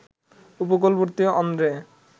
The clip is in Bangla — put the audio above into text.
উপকূলবর্তী অন্ধ্রে